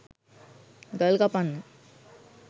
ගල් කපන්න